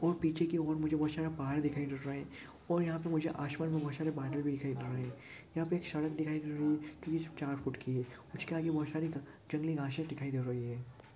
और पीछे की और मुझे बहुत सारा पहाड़ दिखाई दे रहा है और यहाँ पर मुझे आसमान में बहुत सारे बादल दिखाई दे रहे है यहाँ पे एक सड़क दिखाई दे रही है जो सिर्फ चार फुट की है उसके आगे बहोत सारी जंगली घासे दिखाई दे रही है।